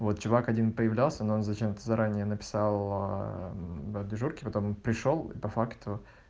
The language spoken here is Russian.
вот чувак один появлялся но он зачем-то заранее написал в дежурке потом пришёл и по факту